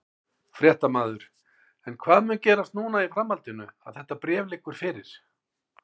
Fréttamaður: En hvað mun gerast núna í framhaldinu að þetta bréf liggur fyrir?